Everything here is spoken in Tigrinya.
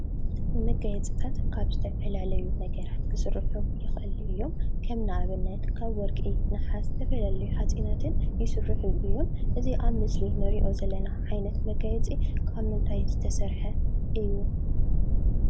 መጋየፅታት ካብ ዝተፈላለዩ ነገራት ክስርሑ ይኽእሉ እዮም። ከም ንአብነት ካብ ወርቂ፣ ነሓስ ዝተፈላለዩ ሓፂናትን ይስርሑ እዮም። እዚ አብ ምስሊ እንሪኦ ዘለና ዓይነት መጋየፂ ካብ ምንታይ ዝተሰርሐ እዩ?